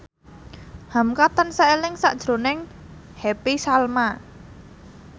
hamka tansah eling sakjroning Happy Salma